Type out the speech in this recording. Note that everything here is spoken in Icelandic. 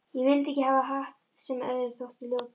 Ég vildi ekki hafa hatt sem öðrum þótti ljótur.